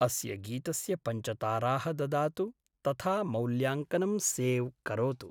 अस्य गीतस्य पञ्चताराः ददातु तथा मौल्याङ्कनं सेव् करोतु।